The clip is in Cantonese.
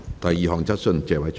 第二項質詢。